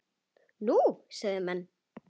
Nú? sögðu menn.